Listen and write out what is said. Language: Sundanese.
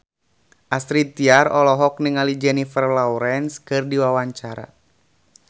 Astrid Tiar olohok ningali Jennifer Lawrence keur diwawancara